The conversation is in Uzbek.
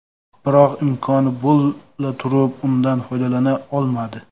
Biroq imkoni bo‘la turib, undan foydalana olmadi.